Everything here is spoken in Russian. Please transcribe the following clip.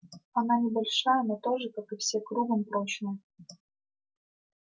она небольшая но тоже как и все кругом прочная